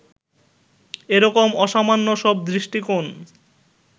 এ রকম অসামান্য সব দৃষ্টিকোণ